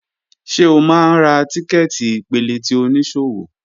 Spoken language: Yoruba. Ṣe o máa ń ra tíkẹ́ẹ̀tì ìpele ti oníṣòwò?